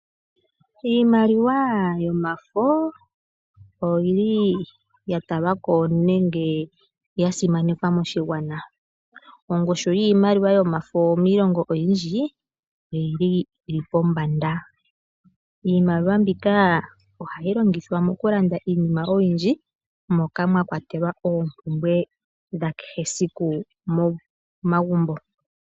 Iimaliwa yomafo oya talwa ko nenge ya simanekwa moshigwana. Ongushu yiimaliwa yomafo miilongo oyindji oyi li pombanda. Iimaliwa mbika ohayi longithwa okulanda iinima oyindji moka mwa kwatelwa okulanda oompumbwe dha kehe siku momagumbo.